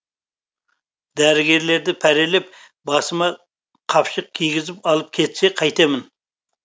дәрігерлерді пәрелеп басыма қапшық кигізіп алып кетсе қайтемін